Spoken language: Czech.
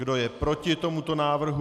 Kdo je proti tomuto návrhu?